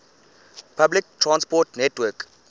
public transport network